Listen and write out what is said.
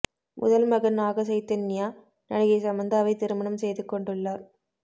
முதல் மகன் நாக சைதன்யா நடிகை சமந்தாவை திருமணம் செய்து கொண்டுள்ளார்